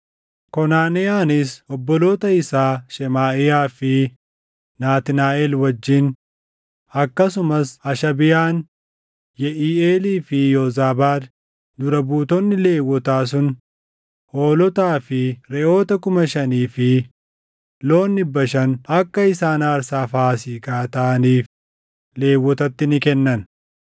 Konaneyaanis obboloota isaa Shemaaʼiyaa fi Naatnaaʼel wajjin, akkasumas Hashabiyaan, Yeʼiiʼeelii fi Yoozaabaad dura buutonni Lewwotaa sun hoolotaa fi reʼoota kuma shanii fi loon dhibba shan akka isaan aarsaa Faasiikaa taʼaniif Lewwotatti ni kennan.